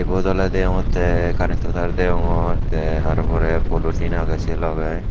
ubot oley deongonttey carentto tar degongor tey ar porey polotin agey se logey.